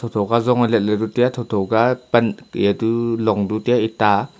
choka zong e let bu tai a tho tho ke apan a long tu tai a eta a.